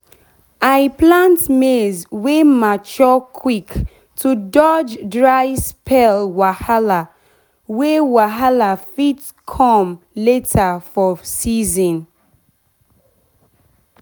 i plant maize wey mature quick to dodge dry spell wahala wey wahala fit come later for season.